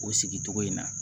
O sigicogo in na